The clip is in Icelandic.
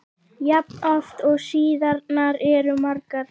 jafn oft og síðurnar eru margar.